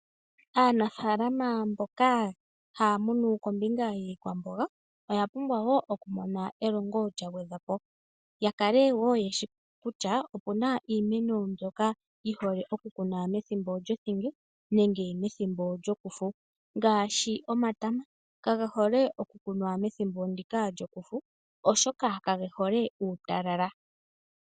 Aanafaalama mboka haya munu kombinga yiikwamboga oyapumbwa wo okumona elongo lyagwedhwapo, yakale wo yeshi kutya opuna iimeno mbyoka yihole okukunwa methimbo lyothinge nenge methimbo lyokufu ngaashi omatama kage hole okukunwa methimbo ndika lyokufu oshoka kage hole uutalala.